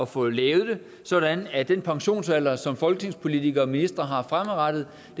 få lavet det sådan at den pensionsalder som folketingspolitikere og ministre har fremadrettet